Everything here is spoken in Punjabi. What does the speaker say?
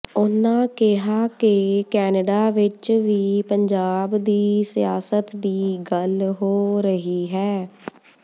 ਉਨ੍ਹਾਂ ਕਿਹਾ ਕਿ ਕੈਨੇਡਾ ਵਿੱਚ ਵੀ ਪੰਜਾਬ ਦੀ ਸਿਆਸਤ ਦੀ ਗੱਲ ਹੋ ਰਹੀ ਹੈ